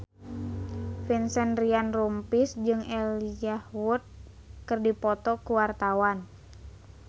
Vincent Ryan Rompies jeung Elijah Wood keur dipoto ku wartawan